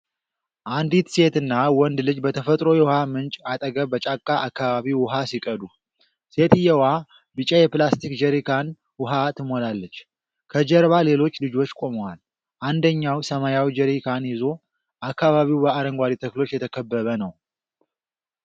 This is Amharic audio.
አንዲት ሴትና ወንድ ልጅ በተፈጥሮ የውሃ ምንጭ አጠገብ በጫካ አካባቢ ውኃ ሲቀዱ። ሴትየዋ ቢጫ የፕላስቲክ ጀሪካን ውኃ ትሞላለች። ከጀርባ ሌሎች ልጆች ቆመዋል፣ አንደኛው ሰማያዊ ጀሪካን ይዞ። አካባቢው በአረንጓዴ ተክሎች የተከበበ ነው።